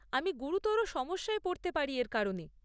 আমি গুরুতর সমস্যায় পড়তে পারি এর কারণে।